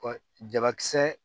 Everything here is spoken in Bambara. Ɔ jabakisɛ